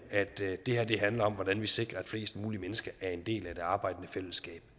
handler om hvordan vi sikrer at flest mulige mennesker er en del af det arbejdende fællesskab